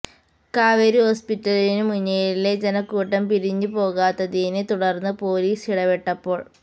കാവേരി ഹോസ്പിറ്റലിനു മുന്നിലെ ജനക്കൂട്ടം പിരിഞ്ഞു പോകാത്തതിനെ തുടർന്ന് പൊലീസ് ഇടപെട്ടപ്പോൾ